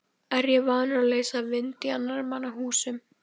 Er ég vanur að leysa vind í annarra manna húsum?